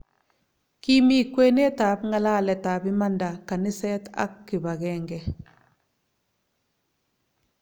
Kimi kwenet ab ngalalet ab imanda kaniset ak kipangenge